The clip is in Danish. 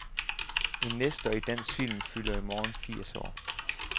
En nestor i dansk film fylder i morgen firs år.